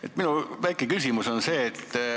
Hea minister!